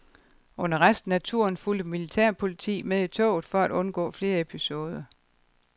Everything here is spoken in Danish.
Under resten af turen fulgte militærpoliti med i toget for at undgå flere episoder.